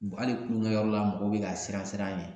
Hali kulonkɛyɔrɔ la mɔgɔw bɛ ka siran siran a ɲɛ